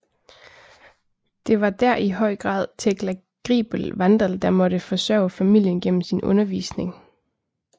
Det var der i høj grad Tekla Griebel Wandall der måtte forsørge familien gennem sin undervisning